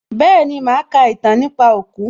Bẹ́ẹ̀ni, màá ka ìtàn nípa òkú